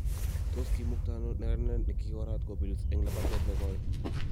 Tos kiimukta ano neranet ne kigoraat kobelis eng labatet ne koi